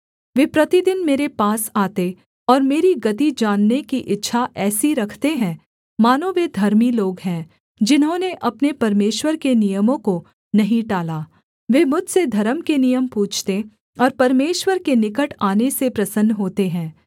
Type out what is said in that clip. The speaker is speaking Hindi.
वे प्रतिदिन मेरे पास आते और मेरी गति जानने की इच्छा ऐसी रखते हैं मानो वे धर्मी लोग हैं जिन्होंने अपने परमेश्वर के नियमों को नहीं टाला वे मुझसे धर्म के नियम पूछते और परमेश्वर के निकट आने से प्रसन्न होते हैं